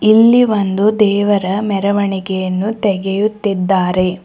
ಇಲ್ಲಿ ಒಂದು ದೇವರ ಮೆರವಣಿಗೆಯನ್ನು ತೆಗೆಯುತ್ತಿದ್ದಾರೆ.